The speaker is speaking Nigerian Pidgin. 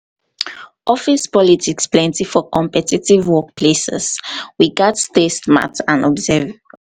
office politics plenty for competitive workplaces; we gats stay smart and observant.